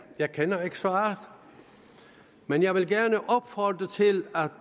jeg kender ikke svaret men jeg vil gerne opfordre til